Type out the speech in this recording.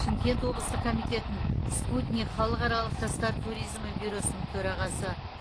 шымкент облыстық комитетінің спутник халықаралық жастар туризмі бюросының төрағасы